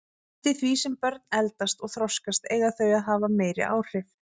Eftir því sem börn eldast og þroskast eiga þau að hafa meiri áhrif.